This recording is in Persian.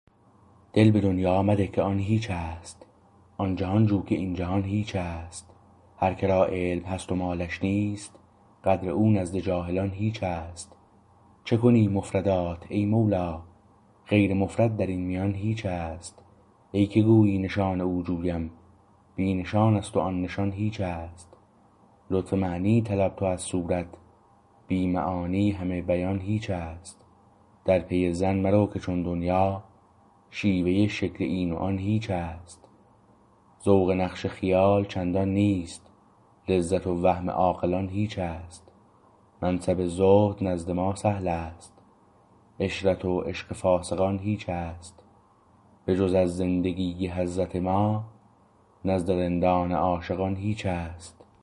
دل به دنیا مده که آن هیچست آن جهان جو که این جهان هیچست هر کرا علم هست و مالش نیست قدر او نزد جاهلان هیچست چه کنی مفردات ای مولا غیر مفرد در این میان هیچست ای که گویی نشان او جویم بی نشانست و آن نشان هیچست لطف معنی طلب تو از صورت بی معانی همه بیان هیچست در پی زن مرو که چون دنیا شیوه شکل این و آن هیچست ذوق نقش خیال چندان نیست لذت و وهم عاقلان هیچست منصب زهد نزد ما سهلست عشرت و عشق فاسقان هیچست به جز از زندگی حضرت ما نزد رندان عاشقان هیچست